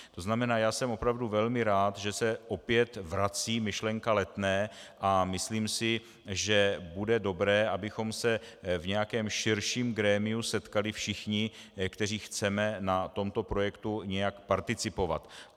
To znamená, že jsem opravdu velmi rád, že se opět vrací myšlenka Letné, a myslím si, že bude dobré, abychom se v nějakém širším grémiu setkali všichni, kteří chceme na tomto projektu nějak participovat.